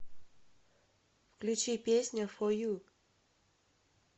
включи песня фо ю